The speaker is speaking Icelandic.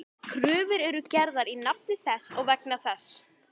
Kröfur eru gerðar í nafni þess og vegna þess.